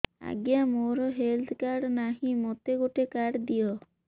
ଆଜ୍ଞା ମୋର health card ନାହିଁ ମୋତେ ଗୋଟେ କାର୍ଡ ଦିଅ